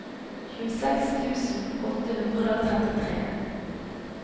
tjueseks tusen åtte hundre og trettitre